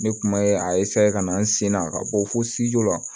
Ne kuma ye asa ka na n sen na ka bɔ fo la